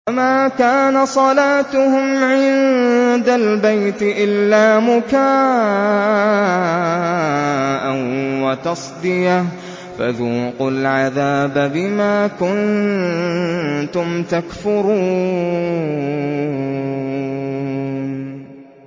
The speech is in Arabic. وَمَا كَانَ صَلَاتُهُمْ عِندَ الْبَيْتِ إِلَّا مُكَاءً وَتَصْدِيَةً ۚ فَذُوقُوا الْعَذَابَ بِمَا كُنتُمْ تَكْفُرُونَ